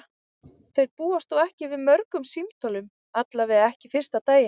Þeir búast þó ekki við mörgum símtölum, allavega ekki fyrsta daginn.